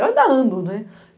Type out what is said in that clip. Eu ainda ando, né?